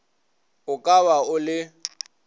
o ka ba o le